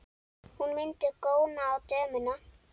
Hún mundi góna á dömuna.